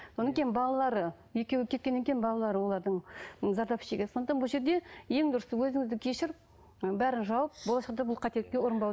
кейін балалары екеуі кеткеннен кейін балалары олардың ы зардап шегеді сондықтан бұл жерде ең дұрысы өзіңізді кешіріп ы бәрін жауып болашақта бұл қателікке ұрынбау